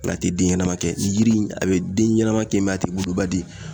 a tɛ den ɲɛnama kɛ. Nin yiri in a be den ɲɛnama kɛ a tɛ woloba di.